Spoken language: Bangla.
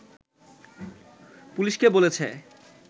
পুলিশকে বলেছে